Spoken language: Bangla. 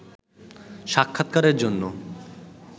সাক্ষাৎকারের জন্য